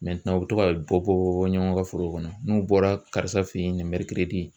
u bɛ to ka bɔ bɔ bɔ ɲɔgɔn ka forow kɔnɔ n'u bɔra karisa fɛ ye nin